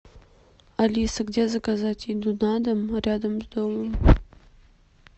алиса где заказать еду на дом рядом с домом